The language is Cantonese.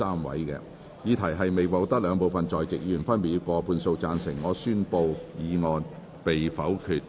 由於議題未獲得兩部分在席議員分別以過半數贊成，他於是宣布修正案被否決。